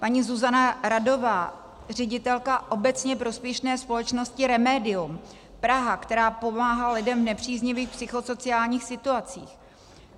Paní Zuzana Radová, ředitelka obecně prospěšné společnosti Remedium Praha, která pomáhá lidem v nepříznivých psychosociálních situacích: